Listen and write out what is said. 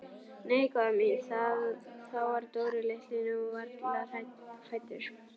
Nei góða mín, þá var Dóri litli nú varla fæddur.